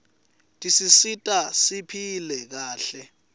tisisita siphile kahle